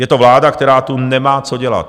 Je to vláda, která tu nemá co dělat.